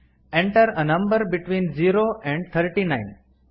enter a number between zero and thirty nine